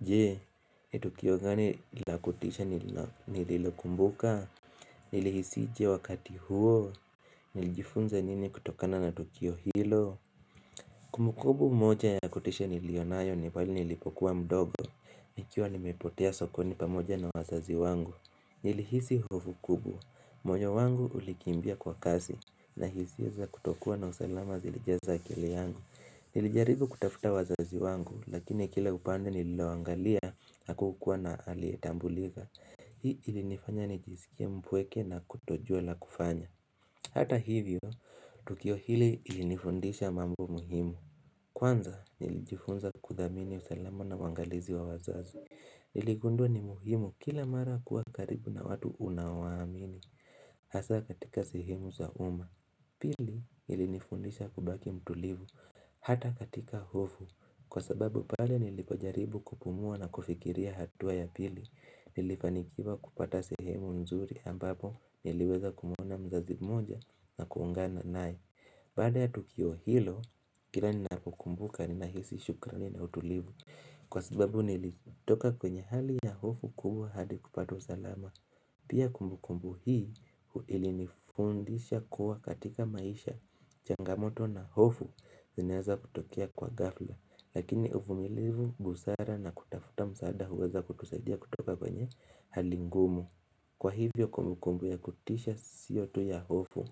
Jee, ni Tukio gani lakutisha nililokumbuka? Nilihisi je wakati huo Nilijifunza nini kutokana na Tukio hilo? Kumbukumbu moja ya kutisha nilionayo ni pale nilipokuwa mdogo Ikiwa nimepotea sokoni pamoja na wazazi wangu Nilihisi hofu kubwa, moyo wangu ulikimbia kwa kasi na hisia za kutokuwa na usalama zilijaza akili yangu Nilijaribu kutafuta wazazi wangu lakini kila kupande nililaloangalia hakukuwa na aliyetambulika Hii ilinifanya nijisikia mpweke na kutojua la kufanya Hata hivyo, tukio hili ilinifundisha mambo muhimu Kwanza, nilijifunza kudhamini usalama na uangalizi wa wazazi Niligundua ni muhimu kila mara kuwa karibu na watu unaowaamini Hasa katika sehemu za uma Pili, ilinifundisha kubaki mtulivu Hata katika hofu, kwa sababu pale nilipojaribu kupumua na kufikiria hatua ya pili, nilifanikiwa kupata sehemu mzuri ambapo niliweza kumuona mzazi moja na kuungana naye Baada ya tukio hilo, kila ninapokumbuka ni nahisi shukrani na utulivu Kwa sababu nilitoka kwenye hali ya hofu kubwa hadi kupata usalama Pia kumbukumbu hii ili nifundisha kuwa katika maisha, changamoto na hofu zinaweza kutokea kwa ghafla Lakini uvumilivu busara na kutafuta msaada huweza kutusaidia kutoka kwenye halingumu Kwa hivyo kumbukumbu ya kutisha siyo tu ya hofu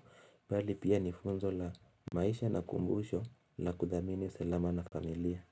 bali pia nifunzo la maisha na kumbusho la kudhamini usalama na familia.